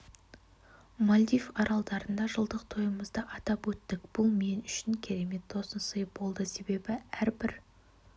мальдив аралдарында жылдық тойымызды атап өттік бұл мен үшін керемет тосын сый болды себебі әрбір